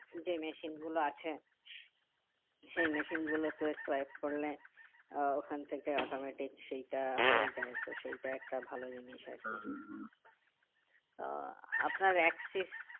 যে machine গুলো আছে সেই machine গুলো তে swipe করলে আহ ওখান থেকে automatic সেইটা হয়ে যাই তো সেইটা একটা ভালো জিনিস আরকি তো আপনার Axis